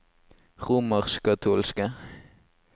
romerskkatolske